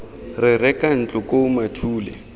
re reka ntlo koo mathule